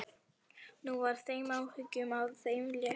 Nú var þeim áhyggjum af þeim létt.